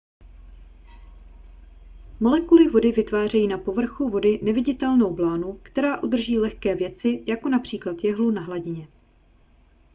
molekuly vody vytvářejí na povrchu vody neviditelnou blánu která udrží lehké věci jako například jehlu na hladině